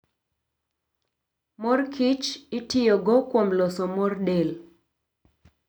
Mor kich itiyogo kuom loso mor del